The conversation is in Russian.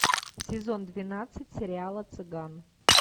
сезон двенадцать сериала цыган